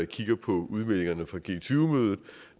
kigger på udmeldingerne fra g tyve mødet